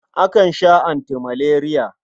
Akan sha antimaleriya.